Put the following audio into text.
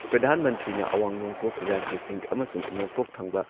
ꯄ꯭ꯔꯙꯥꯟ ꯃꯟꯇ꯭ꯔꯤꯅ ꯑꯋꯥꯡ ꯅꯣꯡꯄꯣꯛ ꯔꯥꯖ꯭ꯌꯁꯤꯡ ꯑꯃꯁꯨꯡ ꯅꯣꯡꯄꯣꯛ ꯊꯪꯕ